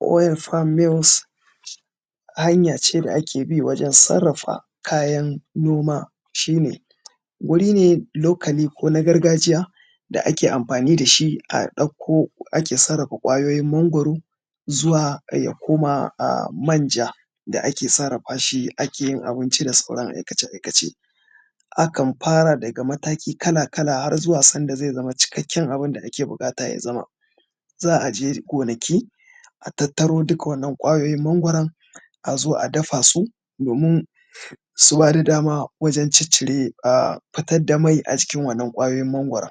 wire farm mills hanya ce da ake bi wajen sarrafa kayan noma shi ne wuri ne locally ko na gargajiya da ake amfani da shi a ɗauko ake sarrafa ƙwayoyin mangwaro zuwa ya koma manja da ake sarrafa shi ake yin abinci da sauran aikace aikace akan fara daga mataki kala kala har zuwa sanda zai zama cikakken abun da ake buƙata ya zama za a je gonaki a tattaro duka wannan ƙwayoyin mangwaro a zo a dafa su domin su ba da dama wajan ciccire a fitar da mai a cikin wannan ƙwayoyin mangwaro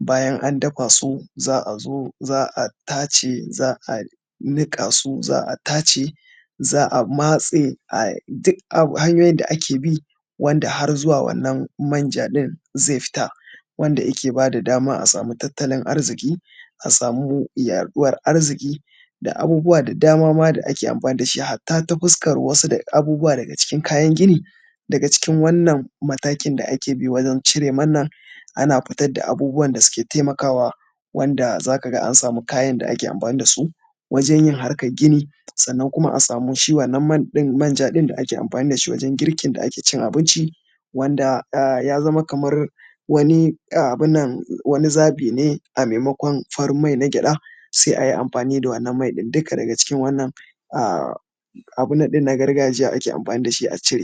bayan an dafa su za a zo za a tace za a niƙa su za a tace za a matse a duk hanyoyin da ake bi wanda har zuwa wannan manja ɗin zai fita wanda yake ba da dama a samu tattalin arziki a samu yaɗuwar arziki da abubuwa da dama ma da ake amfani da shi hatta ta fuskan wasu daga cikin kayan gini daga cikin wannan matakin da ake bi wajan cire mana ana fitar da abubuwan da suke taimakawa wanda za ka ga an samu kayan da ake amfani da su wajen yin harkan gini sannan kuma a samu shi wannan manja ɗin da ake amfani da shi wajan girkin da ake cin abinci wanda ya zama kaman abun nan wani zaɓi ne a maimakon farin mai na gyaɗa sai a yi amfani da wannan mai ɗin duka daga cikin wannan abun nan na gargajiya ake amfani da shi a cire